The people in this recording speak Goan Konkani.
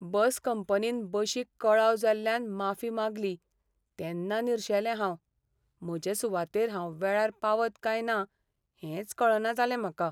बस कंपनीन बशीक कळाव जाल्ल्यान माफी मागली तेन्ना निरशेलें हांव. म्हजे सुवातेर हांव वेळार पावत काय ना हेंच कळना जालें म्हाका.